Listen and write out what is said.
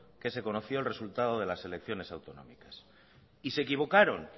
que se conoció el resultado de las elecciones autonómicas y se equivocaron